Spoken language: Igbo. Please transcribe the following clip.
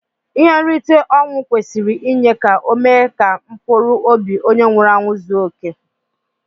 Ihe nrite onwụ kwesiri inye ka ome ka mpụrụ ọbi onye nwuru anwu zuo ike.